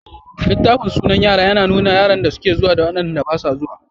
Littafin sunan yara yana nuna yaran da suke zuwa da waɗanda basu zuwa.